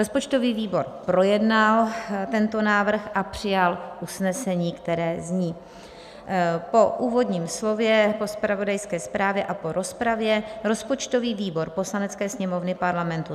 Rozpočtový výbor projednal tento návrh a přijal usnesení, které zní: "Po úvodním slově, po zpravodajské zprávě a po rozpravě rozpočtový výbor Poslanecké sněmovny Parlamentu